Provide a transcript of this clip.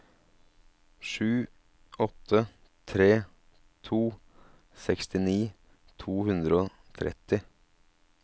sju åtte tre to sekstini to hundre og tretti